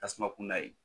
Tasuma kun da ye